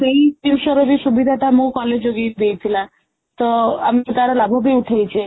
ସେଇ ଜିଣିଷର ବି ସୁବିଧାଟା ମୋ college ଦେଇଥିଲା ତ ଆମେ ତାର ଲାଭ ଉଠେଇଛେ